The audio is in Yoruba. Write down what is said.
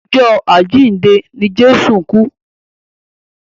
Ọjọ́ àjíǹde ni Jésù kú.